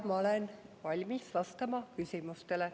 Ja ma olen valmis vastama küsimustele.